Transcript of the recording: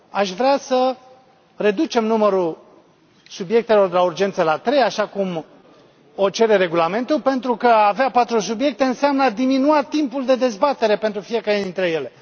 Aș vrea să reducem numărul subiectelor de urgență la trei, așa cum o cere Regulamentul, pentru că a avea patru subiecte înseamnă a diminua timpul de dezbatere pentru fiecare dintre ele.